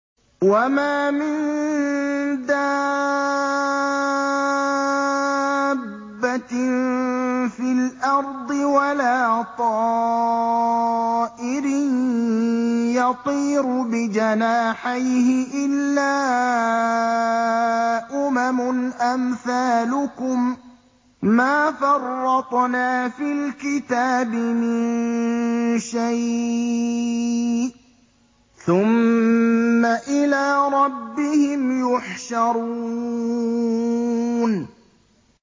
وَمَا مِن دَابَّةٍ فِي الْأَرْضِ وَلَا طَائِرٍ يَطِيرُ بِجَنَاحَيْهِ إِلَّا أُمَمٌ أَمْثَالُكُم ۚ مَّا فَرَّطْنَا فِي الْكِتَابِ مِن شَيْءٍ ۚ ثُمَّ إِلَىٰ رَبِّهِمْ يُحْشَرُونَ